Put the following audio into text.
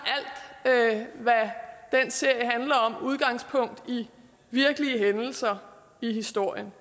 alt serie handler om udgangspunkt i virkelige hændelser i historien